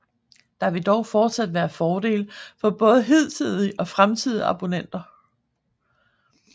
Der vil dog fortsat være fordele for både hidtidige og fremtidige abonnenter